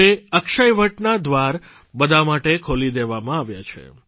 હવે અક્ષયવડનાં દ્વાર બધા માટે ખોલી દેવામાં આવ્યા છે